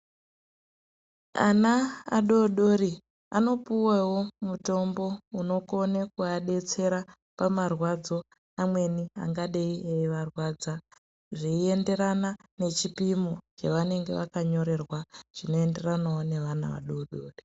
Ana adodori anopuwawo mutombo unokona kuvadetsera pamarwadzo amweni angadeyi eivarwadza zveienderana nechipimo chevanenge vakanyorerwa chinoenderanawo nevana vadodori.